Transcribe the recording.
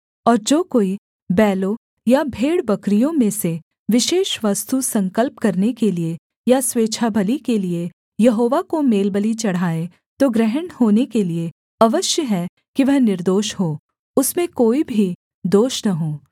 और जो कोई बैलों या भेड़बकरियों में से विशेष वस्तु संकल्प करने के लिये या स्वेच्छाबलि के लिये यहोवा को मेलबलि चढ़ाए तो ग्रहण होने के लिये अवश्य है कि वह निर्दोष हो उसमें कोई भी दोष न हो